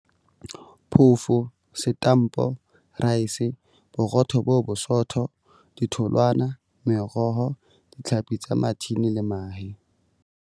Phofo, setampo, raese, boro tho bo bosotho, ditholwana, meroho, ditlhapi tsa mathini le mahe.